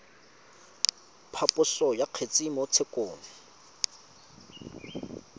phaposo ya kgetse mo tshekong